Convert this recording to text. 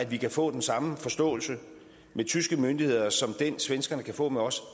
vi kan få den samme forståelse med tyske myndigheder som den svenskerne kan få med os